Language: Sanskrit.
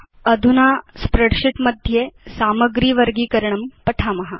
अधुना पठाम काल्क स्प्रेडशीट् मध्ये सामग्रे वर्गीकरणं कथमिति